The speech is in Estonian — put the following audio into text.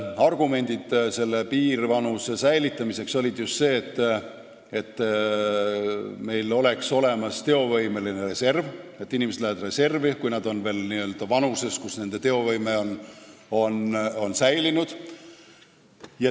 Argumendid piirvanuse säilitamiseks olid just sellised, et meil oleks olemas teovõimeline reserv, et inimesed läheksid reservi, kui nad on veel selles vanuses, kui nende teovõime on säilinud.